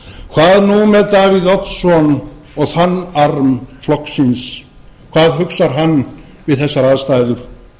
hvað nú með davíð oddsson og þann arm flokksins hvað hugsar hann við þessar aðstæður